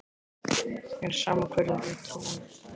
Mér er sama hverju þú trúir.